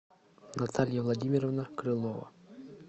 наталья владимировна крылова